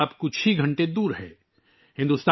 2024 بس چند گھنٹے دور ہے